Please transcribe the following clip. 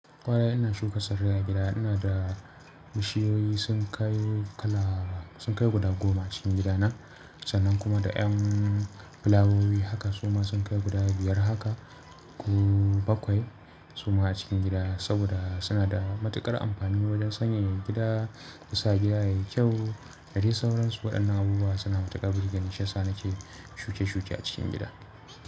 Kwarai ina shuka tsarrai a gida, ina da bishiyoyi sun kai kala sun kai guda goma cikin gidana sannan kuma da ƴan fulawowi haka suma sun kai guda biyar haka, ko bakwai suma a cikin gida saboda suna da matuƙar amfani wajen sanyaya gida, su sa gida yayi kyau. Da dai sauransu waɗannan abubuwa suna matuƙar burgeni shi yasa nake yi shuke shuke a cikin gida.